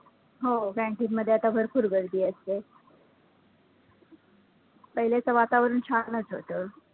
हो canteen मध्ये आता भरपूर गर्दी असते. पहिलेचं वातावरण छानचं होतं.